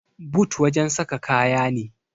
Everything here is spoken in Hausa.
but wajen saka kaya ne